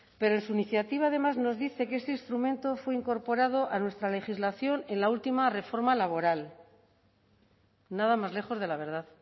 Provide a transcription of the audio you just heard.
pero en su iniciativa además nos dice que este instrumento fue incorporado a nuestra legislación en la última reforma laboral nada más lejos de la verdad